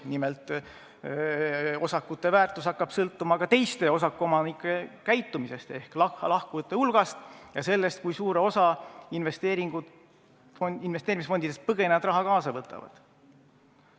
Nimelt, osakute väärtus hakkab sõltuma ka teiste osakuomanike käitumisest ehk lahkujate hulgast ja sellest, kui suure osa rahast investeerimisfondidest põgenejad kaasa võtavad.